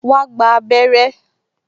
Wà á gba abẹrẹ́